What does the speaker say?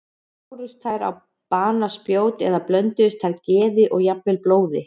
Bárust þær á banaspjót eða blönduðu þær geði og jafnvel blóði?